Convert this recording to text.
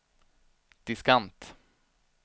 diskant